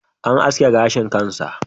An aske gashin kan sa.